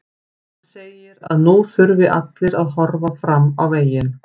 Hann segir að nú þurfi allir að horfa fram veginn.